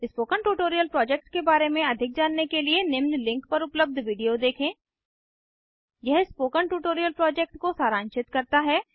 spoken tutorial project के बारे में अधिक जानने के लिए निम्न लिंक पर पर उपलब्ध वीडियो देखें यह स्पोकन ट्यूटोरियल प्रोजेक्ट को सारांशित करता है